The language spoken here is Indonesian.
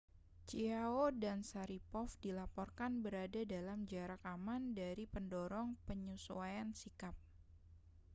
chiao dan sharipov dilaporkan berada dalam jarak aman dari pendorong penyesuaian sikap